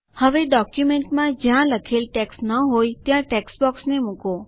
હવે ડોક્યુમેન્ટમાં જ્યાં લખેલ ટેક્સ્ટ ન હોય ત્યાં ટેક્સ્ટબોક્સને મુકો